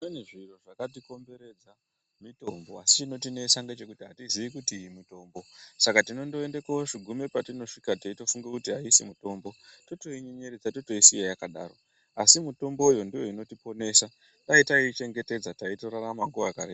Pane zviro zvakatikomberedza mitombo asi chinotinesa ngechekuti atiziii kuti mitombo saka tinondoende kogume patinosvika teitofunga kuti aisi mitombo totoienyenyeredza totoisiya yakadaro asi mutombo uyu ndiyo inotiponesa dai taiichengetedza taitorarama makore akareba.